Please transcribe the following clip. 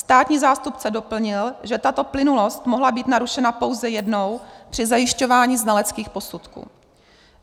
Státní zástupce doplnil, že tato plynulost mohla být narušena pouze jednou při zajišťování znaleckých posudků.